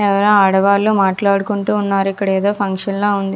ఎవరో ఆడవారు మాట్లాడుకుంటూ ఉన్నారు. ఇక్కడ ఏదో ఫంక్షన్ లా ఉంది.